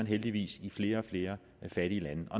heldigvis i flere og flere fattige lande